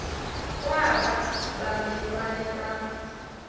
kwaba bamelwane bam